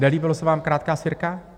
Nelíbila se vám krátká sirka?